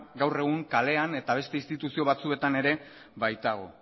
gaur egun kalena eta beste instituzio batzuetan ere baitago